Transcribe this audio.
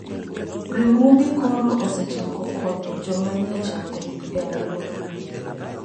Riwruoge koro osechako konyo joma nie chandruok e alworano.